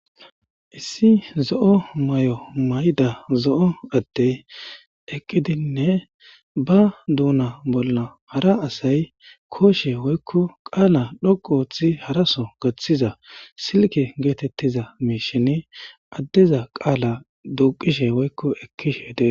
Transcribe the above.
Issi zo'o maayo mayida zo'o addey eqqidine ba duuna bolla hara asay koshshe woykko qaala dhoqqu oothi haaraso gaththiza silke gettetiza mishshen addeza qaala duqqishe woykko ekkishshe dessi.